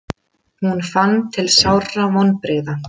Hún fann til sárra vonbrigða.